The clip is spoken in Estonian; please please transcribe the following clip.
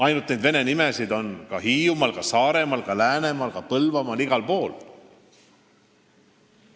Ainult et vene nimesid on ka Hiiumaal, Saaremaal, Läänemaal, Põlvamaal – igal pool.